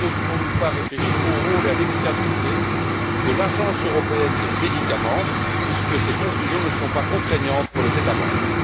Ne devrions nous pas réfléchir au rôle et à l'efficacité de l'Agence européenne des médicaments, puisque ses conclusions ne sont pas contraignantes pour les États membres?